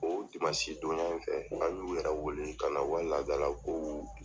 O dimansi donya in fɛ, an y'u yɛrɛ wele ka na u ka laada la ko